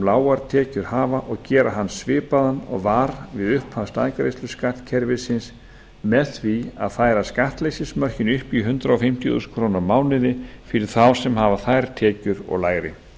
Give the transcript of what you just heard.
lágar tekjur hafa og gera hann svipaðan og var við upphaf staðgreiðsluskattkerfisins með því að færa skattleysismörkin upp í hundrað fimmtíu þúsund krónur á mánuði fyrir þá sem hafa þær tekjur og lægri